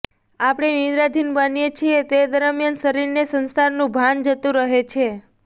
આપણે નિદ્રાધીન બનીએ છીએ તે દરમ્યાન શરીર ને સંસારનું ભાન જતું રહે છે